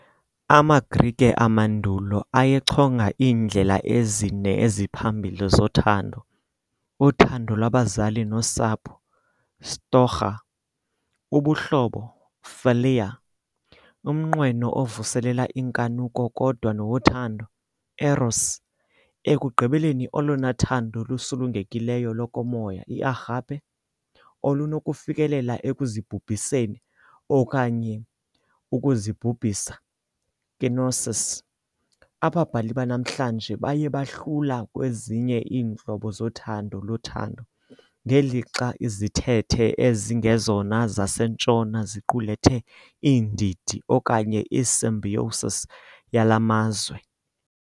AmaGrike amandulo ayechonga iindlela ezine eziphambili zothando - uthando lwabazali nosapho, "storghé", ubuhlobo, "philia", umnqweno ovuselela inkanuko kodwa nowothando, "eros", ekugqibeleni olona thando lusulungekileyo lokomoya, i "agape", olunokufikelela ekuzibhubhiseni okanye ukuzibhubhisa. "kenosis", ababhali banamhlanje baye bahlula ezinye iintlobo zothando lothando, ngelixa izithethe ezingezona zaseNtshona ziqulethe iindidi okanye i-symbiosis yala mazwe.